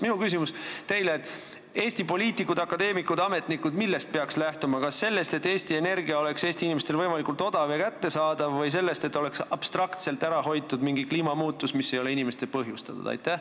Millest peaksid lähtuma Eesti poliitikud, akadeemikud ja ametnikud, kas sellest, et energia oleks Eesti inimestele võimalikult odav ja kättesaadav, või sellest, et oleks abstraktselt ära hoitud mingi kliimamuutus, mis ei ole inimeste põhjustatud?